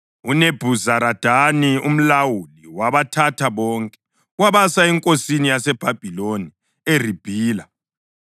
UNebhuzaradani umlawuli wabathatha bonke wabasa enkosini yaseBhabhiloni eRibhila.